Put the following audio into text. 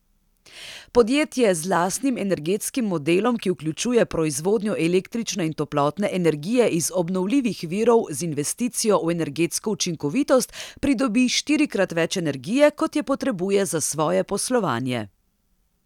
Podjetje z lastnim energetskim modelom, ki vključuje proizvodnjo električne in toplotne energije iz obnovljivih virov z investicijo v energetsko učinkovitost, pridobi štirikrat več energije, kot je potrebuje za svoje poslovanje.